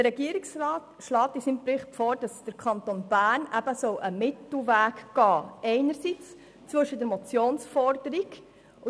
Der Regierungsrat schlägt nun in seinem Bericht einen Mittelweg für den Kanton Bern vor.